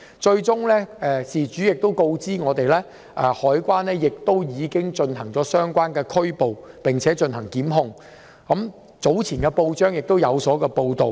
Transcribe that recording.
後來事主亦告訴我，海關已作出相關拘捕和檢控，早前報章亦有報道。